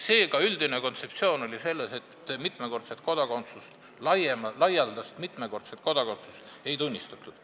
Seega oli üldine kontseptsioon selline, et laialdast mitmekordset kodakondsust ei tunnistatud.